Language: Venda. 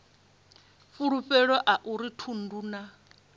fulufhelo a uri thundu na